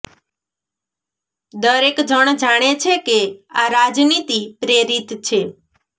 દરેક જણ જાણે છે કે આ રાજનીતિ પ્રેરિત છે